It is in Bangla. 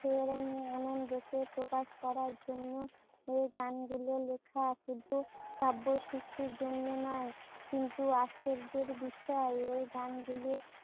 প্রকাশ করার জন্য এই গান গুলো লেখা, শুধু কাব্য সিদ্ধির জন্য নয়। কিন্তু আশ্চর্যের বিষয় এই গানগুলি